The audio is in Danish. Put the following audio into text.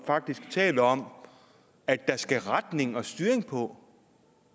faktisk og taler om at der skal retning og styring på